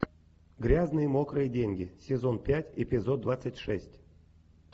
грязные мокрые деньги сезон пять эпизод двадцать шесть